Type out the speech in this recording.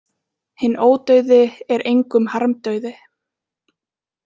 Hinn ódauði er engum harmdauði.